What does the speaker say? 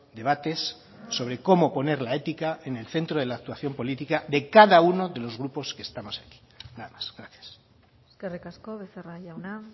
debates sobre cómo poner la ética en el centro de la actuación política de cada uno de los grupos que estamos aquí nada más gracias eskerrik asko becerra jauna